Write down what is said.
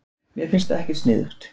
Mér finnst það ekkert sniðugt.